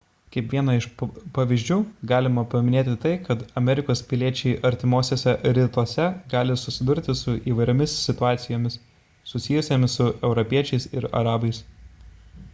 kaip vieną iš pavyzdžių galima paminėti tai kad amerikos piliečiai artimuosiuose rytuose gali susidurti su įvairiomis situacijomis susijusiomis su europiečiais ir arabais